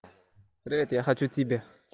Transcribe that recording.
привет я хочу тебе